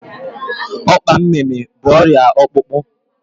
Ọkpa mimi bụ ọrịa ọkpụkpụ